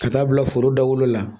Ka taa bila foro dawolo la